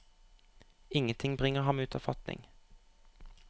Ingenting bringer ham ut av fatning.